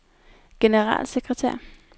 generalsekretær